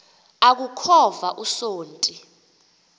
aku khova usonti